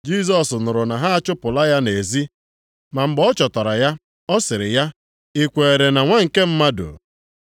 Jisọs nụrụ na ha achụpụla ya nʼezi, ma mgbe ọ chọtara ya, ọ sịrị ya, “I kweere na Nwa nke Mmadụ?”